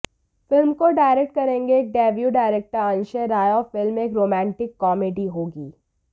film को direct करेंगे एक डेब्यू डायरेक्टर अंशय राय और फिल्म एक रोमांटिक कॉमेडी होगी